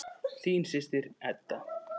Þín systir, Edda.